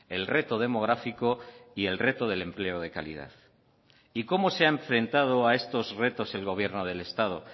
el reto demográfico y el reto del empleo de calidad y cómo se ha enfrentado a estos retos el gobierno del estado